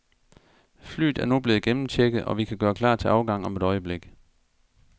Flyet er nu blevet gennemchecket, og vi kan gøre klar til afgang om et øjeblik.